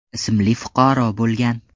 ismli fuqaro bo‘lgan.